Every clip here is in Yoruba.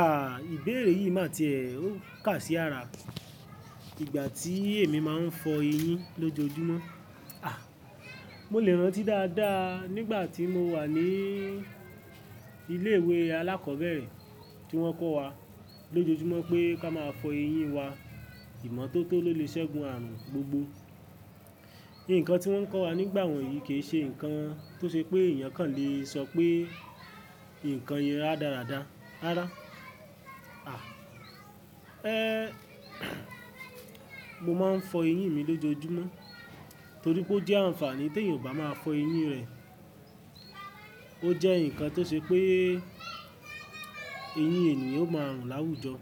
Àh! Ìbéèrè yìí má ti è, ó ká sí ara. Ìgbà tí èmi máa ń fọ eyín lójoójúmọ́, àh! Mo lè rántí dáadáa nígbà tí mo wà ní ilé ìwé alákọ̀ọ́bẹ̀rẹ̀ tí wọ́n kọ́ wa lójoójúmọ́ pé ká máa fọ eyín wa ìmọ́tótó lóle sẹ́gun ààrùn gbogbo. Nǹkan tí wọ́n kọ́ wa nígbà wọ̀nyí kì í ṣe ǹkan tó ṣe pé èèyàn kan lè sọ pé ǹkan yẹn rádárada rára. Àh! Ẹ́, mo máa ń fọ eyín mi lójoójúmọ́ torí pé ó jẹ́ àǹfààní teeyàn ò bá máa fọ eyín rẹ̀. Ó jẹ́ ǹkan tó ṣe pé eyín ènìyàn ó máa rùn láwùjọ.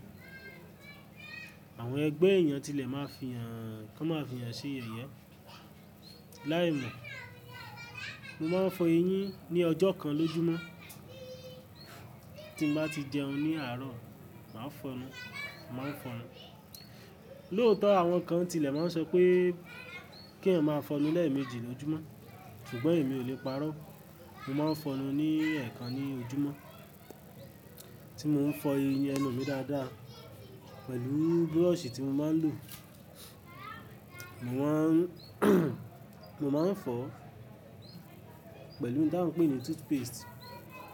Àwọn ẹgbẹ́ èèyàn tilẹ̀ máa fi hàn, kàn máa fi hàn ṣe yẹ̀yẹ. Làìmọ̀. Mo máa ń fọ eyín ní ọjọ́ kan lójúmọ́. Tí m bá ti jẹun ní àárọ̀, màá fọ nu, màá fọ nu. Lóòótọ́ àwọn kan tilẹ̀ máa ń sọ pé kí èeyàn máa fọ nu lẹ́ẹ̀mejì lójúmọ́, ṣùgbọ́n èmi ò lè parọ́. Mo máa ń fọ nu ní ẹẹ̀kan ní ojúmọ́. Tí mo ń fọ eyín ẹnu mi dáadáa pẹ̀lú búrọ̀sì tí mo máa ń lò, mo máa ń mo máa ń fọ pẹ̀lú ohun tí wọ́n ń pè ní toothpaste,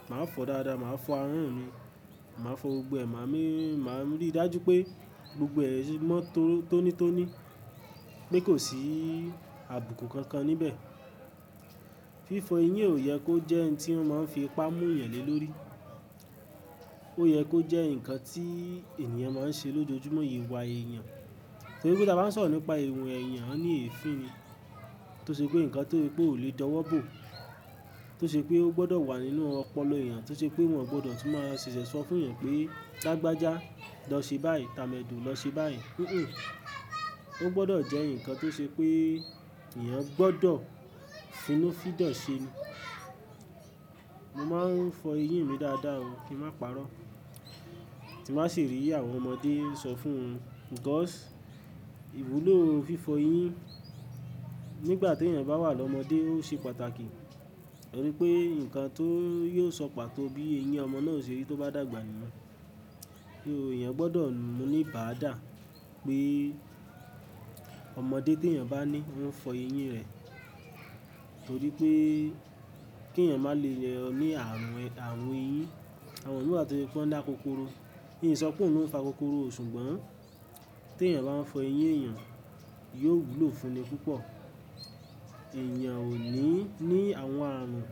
màá fọ dáadáa, màá fọ àáhan mi, màá fọ gbogbo ẹ̀ má mi, màá rí i dájú pé gbogbo ẹ̀ mọ́ tónítóní pé kò sí àbùkù kankan níbẹ̀. Fífọ eyín ò yẹ kó jẹ́ ohun tí wọ́n máa ń fi ipa mu yàn lé lórí. Ó yẹ kó jẹ́ ǹkan tí ènìyàn máa ń ṣe lójoójúmọ́ ìwà èèyàn. Torí pé ta bá ń sọ̀rọ̀ nípa ìwù èèyàn a ní èéfín ni, tó ṣe pé ǹkan tó pé ó lè dọwọ́ bò, tó ṣe pé ó gbọdọ̀ wà nínú ọpọlọ èèyàn, tó ṣe pé wọn gbọdọ̀ tún máa ṣẹ̀ṣẹ̀ sọ fún èèyàn pé tí làgbàjá lọ ṣe báyìí, tamẹ́do lọ ṣe báyìí. Hunhùn. Ó gbọdọ̀ jẹ́ ǹkan tó ṣe pé èèyàn gbọdọ̀ finú fidọ̀ ṣe ni. Mo máa ń fọ eyín mi dáadáa o kí n má parọ́. Tí m bàá sì rí àwọn ọmọdé sọ fún won. Because ìwúlò fífọ eyín nígbà t'èèyàn bá wà lọ́mọdé ó ṣe pàtàkì. Torí pé ǹkan tó yóò sọ pàtó bí eyín ọmọ náà ṣe rí tó bá dàgbà nìyẹn. Kí eeyàn gbọdọ̀ mu ní bàádà pé ọmọdé t'èèyàn bá ní ó ń fọ eyín rẹ̀. Torí pé k'èèyàn máa le lọ ní àrùn, àrun eyín, àwọn mii wáà tó se pọ́ n lá kokoro. Mí sọ pé òun ò ń fa kokoro o ṣùgbọ́n t'èèyàn bá ń fọ eyín èèyàn yóò wúlò fún le púpọ̀. Ẹ̀yàn ò ní, ní àwọn àrùn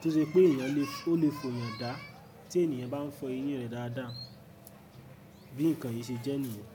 tó ṣe pé èèyàn le, ó lè fọyàn dá tí èniyàn bá ń fọ eyín rẹ̀ dáadáa. Bí ǹkan yìí ṣe jẹ́ nìyẹn.